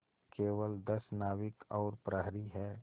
केवल दस नाविक और प्रहरी है